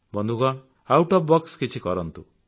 ବନ୍ଧୁଗଣ out of the box କିଛି କରନ୍ତୁ